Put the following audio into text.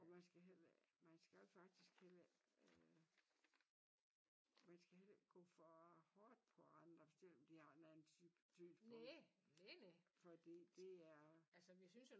Og man skal heller man skal jo faktisk heller øh man skal heller ikke gå for hårdt på andre selvom de har en anden syn på fordi det er